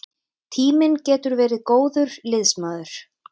Tíminn getur verið góður liðsmaður.